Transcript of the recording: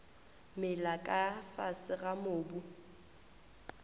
mela ka fase ga mobu